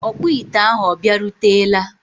ọkpụ ite ahụ ọ bịarutela?